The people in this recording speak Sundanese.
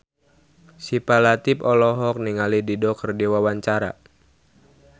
Syifa Latief olohok ningali Dido keur diwawancara